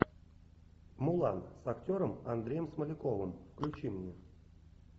мулан с актером андреем смоляковым включи мне